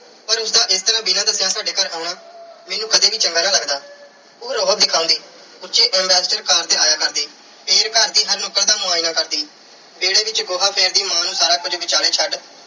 ਪਰ ਉਸ ਦਾ ਇਸ ਤਰ੍ਹਾਂ ਬਿਨਾਂ ਦੱਸਿਆਂ ਸਾਡੇ ਘਰ ਆਉਣਾ ਮੈਨੂੰ ਕਦੇ ਵੀ ਚੰਗਾ ਨਾ ਲੱਗਦਾ। ਉਹ ਰੋਅਬ ਦਿਖਾਉਂਦੀ। ਉੱਚੀ ambassadorcar ਤੇ ਆਇਆ ਕਰਦੀ ਤੇ ਘਰ ਦੀ ਹਰ ਨੁੱਕਰ ਦਾ ਮੁਆਇਨਾ ਕਰਦੀ। ਵਿਹੜੇ ਵਿੱਚ ਗੋਹਾ ਫੇਰਦੀ ਮਾਂ ਨੂੰ ਸਾਰਾ ਕੁਝ ਵਿਚਾਲੇ ਛੱਡ